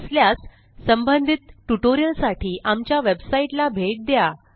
नसल्यास संबंधित ट्युटोरियलसाठी आमच्या वेबसाईटला भेट द्या